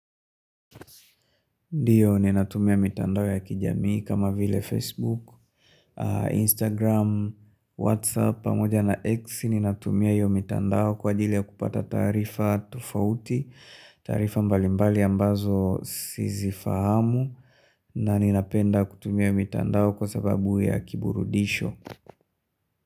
Ndiyo ninatumia mitandao ya kijamii kama vile Facebook, Instagram, Whatsapp, pamoja na X ninatumia hiyo mitandao kwa ajili ya kupata tarifa tofauti, tarifa mbalimbali ambazo sisifahamu na ninapenda kutumia mitandao kwa sababu ya kiburudisho.